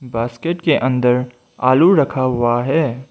Basket के अंदर आलू रखा हुआ है।